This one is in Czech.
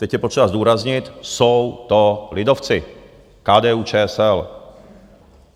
Teď je potřeba zdůraznit: jsou to lidovci, KDU-ČSL.